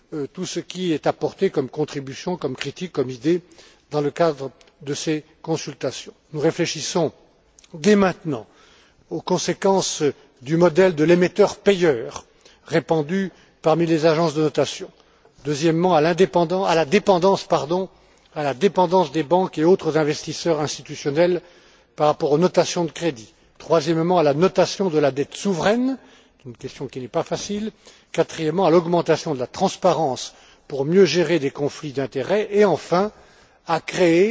tout ce qui est apporté comme contribution, comme critique, comme idée dans le cadre de ces consultations. Nous réfléchissons, dès maintenant, premièrement aux conséquences du modèle de l'émetteur payeur répandu parmi les agences de notation, deuxièmement, à la dépendance des banques et autres investisseurs institutionnels, par rapport aux notations de crédit, troisièmement, à la notation de la dette souveraine une question qui n'est pas facile quatrièmement, à l'augmentation de la transparence pour mieux gérer des conflits d'intérêts et enfin, à créer